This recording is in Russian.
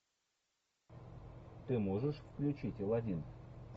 ты можешь включить аладдин